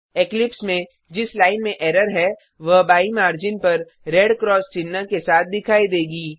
Eclipse में जिस line में एरर है वह बाईं मार्जिन पर रेड क्रॉस चिह्न के साथ दिखाई देगी